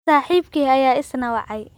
Saaxiibkii ayaa isna wacay